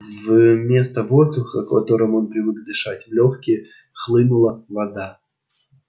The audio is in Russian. вместо воздуха которым он привык дышать в лёгкие хлынула вода